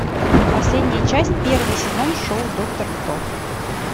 последняя часть первый сезон шоу доктор кто